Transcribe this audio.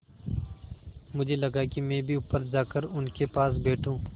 मुझे लगा कि मैं भी ऊपर जाकर उनके पास बैठूँ